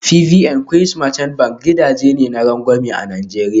FBN Quest Merchant Bank gidaje ne na rangwame a Najeriya